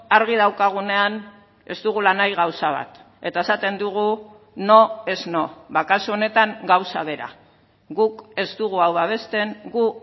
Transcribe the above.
argi daukagunean ez dugula nahi gauza bat eta esaten dugu no es no kasu honetan gauza bera guk ez dugu hau babesten gu